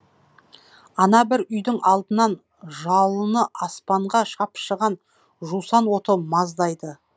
ана бір үйдің алдынан жалыны аспанға шапшыған жусан оты маздайды